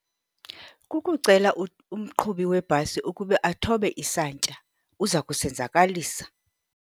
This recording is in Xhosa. Kukucela umqhubi webhasi ukuba athobe isantya, uza kusenzekalisa.